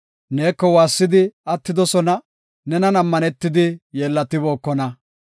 Neeko waassidi attidosona; nenan ammanetidi yeellatibookona.